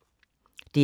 DR K